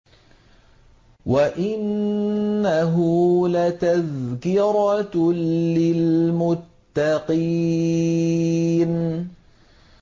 وَإِنَّهُ لَتَذْكِرَةٌ لِّلْمُتَّقِينَ